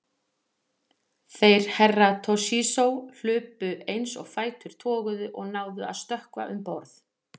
Þeir Herra Toshizo hlupu eins og fætur toguðu og náðu að stökkva um borð.